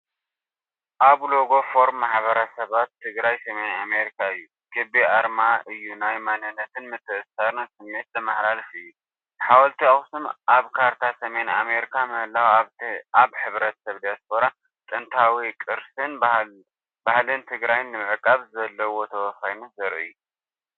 ኣብዚ ሎጎ ፎረም ማሕበረሰባት ትግራይ ሰሜን ኣሜሪካ እዩ። ክቢ ኣርማ እዩ ናይ መንነትን ምትእስሳርን ስምዒት ዘመሓላልፍ እዩ። ሓወልቲ ኣክሱም ኣብ ካርታ ሰሜን ኣሜሪካ ምህላዉ ኣብ ሕብረተሰብ ዲያስፖራ ጥንታዊ ቅርስን ባህልን ትግራይ ንምዕቃብ ዘለዎ ተወፋይነት ዘርኢ እዩ።